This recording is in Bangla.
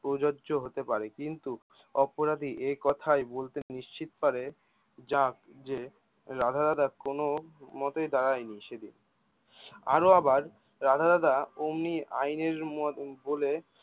প্রযোজ্য হতে পারে কিন্ত অপরাধী এই কথায় বলতে নিশ্চিত পারে যা যে রাধা দাদা কোনও মতেই দাঁড়ায়নি সেদিন আরো আবার রাধা দাদা ওমনি আইনের মত বলে